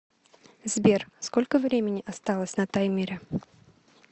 сбер сколько времени осталось на таймере